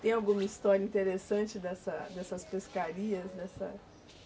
Tem alguma história interessante dessa, dessas pescarias? dessa